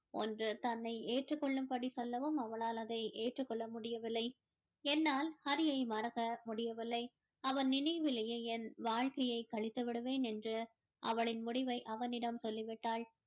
ஒன்று தன்னை ஏற்றுக் கொள்ளும்படி சொல்லவும் அவளால் அதை ஏற்றுக் கொள்ள முடியவில்லை என்னால் ஹரியை மறக்க முடியவில்லை அவன் நினைவிலேயே என் வாழ்க்கையை கழித்து விடுவேன் என்று அவளின் முடிவை அவனிடம் சொல்லி விட்டாள்